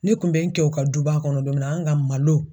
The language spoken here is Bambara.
Ne kun bɛ n kɛ u ka duba kɔnɔ don min na an ka malo.